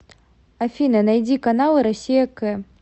афина найди каналы россия к